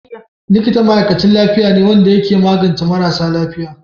Likita ma'aikachin lafiya ne wanda ya ke magance marasa lafiya.